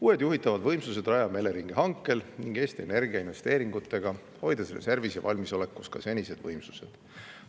Uued juhitavad võimsused rajame Eleringi hankega ning Eesti Energia investeeringutega, hoides reservis ja valmisolekus ka senised võimsused.